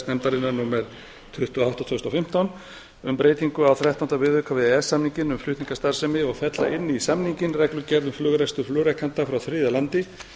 nefndarinnar númer tuttugu og átta tvö þúsund og fimmtán um breytingu á þrettánda viðauka við e e s samninginn um flutningastarfsemi og fella inn í samninginn reglugerð um flugrekstur flugrekenda frá þriðja landi